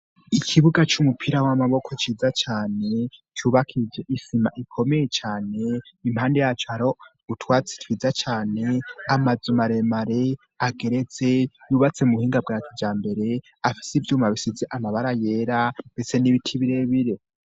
ikibuga c'umupira w'amaboko ciza cane cubakiye isima ikomeye cane impande yaco aro utwatsi twiza cane amazu maremare hageretse yubatse mu buhinga bwacu bwakijambere afise ivyuma bisize amabara yera ndetse n'ibiti birebire